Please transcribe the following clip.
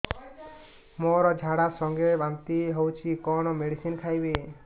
ମୋର ଝାଡା ସଂଗେ ବାନ୍ତି ହଉଚି କଣ ମେଡିସିନ ଖାଇବି